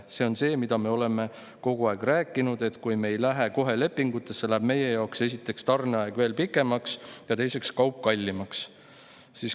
See on see, mida me oleme ka kogu aeg rääkinud, et kui me ei lähe kohe lepingutesse, läheb meie jaoks esiteks tarneaeg veel pikemaks ja teiseks kaup kallimaks.